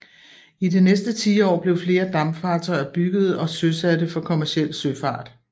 I det næste tiår blev flere dampfartøjer byggede og søsatte for kommerciel søfart